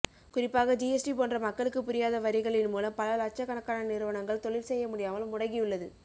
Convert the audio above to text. குறிப்பாக ஜிஎஸ்டி போன்ற மக்களுக்கு புரியாத வரிகளின் மூலம் பல லட்சக்கணக்கான நிறவனங்கள் தொழில் செய்ய முடியாமல் முடங்கியுள்ளது